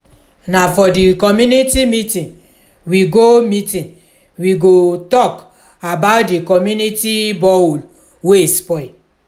na for di community meeting we go meeting we go tok about di community borehole wey spoil.